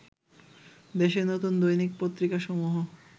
দেশে নতুন দৈনিক পত্রিকা সমূহ